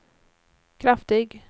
kraftig